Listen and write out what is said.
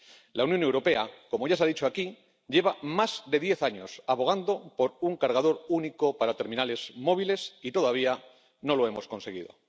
La Unión Europea ―como ya se ha dicho aquí― lleva más de diez años abogando por un cargador único para terminales móviles, y todavía no lo hemos conseguido.